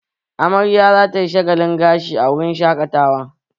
Amarya za ta yi shagalin gashi a wurin shaƙatawa